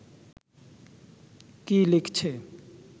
কী লিখছে